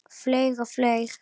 Flaug og flaug.